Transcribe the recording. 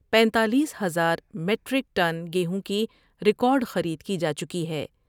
پینتالیس ہزار metric ton گیہوں کی ریکارڈخرید کی جا چکی ہے ۔